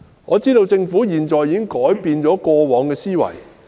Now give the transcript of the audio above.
我知道政府現在已改變過往的思維。